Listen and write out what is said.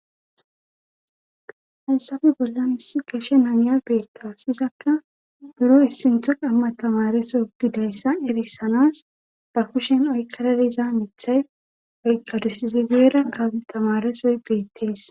Hansape bollan issi geshe naya beetta sizakka buro issintho qamma tamareso bidayssa erisanas ba kushen oykkaradiza mithay oykkadusizi guera ka tamaresoy beettees.